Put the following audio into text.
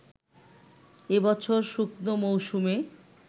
এবছর শুকনো মৌসুমে